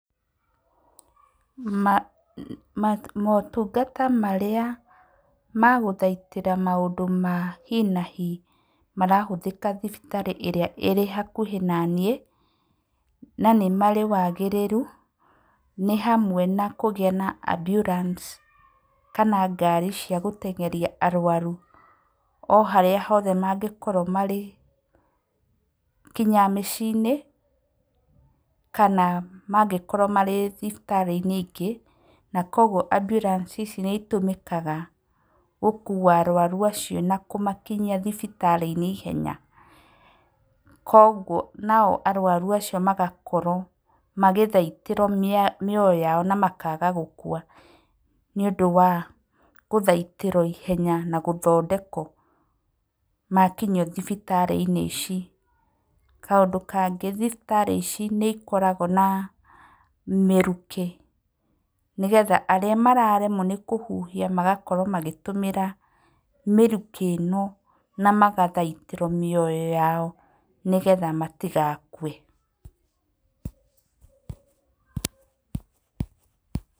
Ma ma motungata marĩa ma gũthaitĩra maũndũ ma hinahi marahũthĩka thibitarĩ ĩrĩa ĩrĩ hakuhĩ naniĩ, na nĩmarĩ wagĩrĩru, nĩ hamwe na kũgĩa na ambulance kana ngari cia gũteng'eria arwaru o harĩa hothe mangĩkorwo marĩ, nginya mĩciĩ-inĩ, kana mangĩkorwo marĩ thibitarĩ-inĩ ingĩ. Na koguo ambulance ici nĩitũmĩkaga gũkuwa arwaru acio na kũmakinyia thibitarĩ-inĩ ihenya. Koguo arwaru acio magakorwo magĩthaitĩrwo mĩoyo yao na makaga gũkua nĩ ũndũ wa gũthaitĩrwo ihenya makinyio thibitarĩ-inĩ ici. Kaũndũ kangĩ, thibitarĩ ici nĩ ikoragwo na mĩrukĩ nĩgetha arĩa mararemwo nĩ kũhuhia magakorwo magĩtũmĩra mĩrukĩ ĩno na magathaitĩrwo mĩoyo yao nĩgetha matigakue.